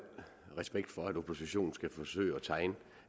respekt for at oppositionen skal forsøge at tegne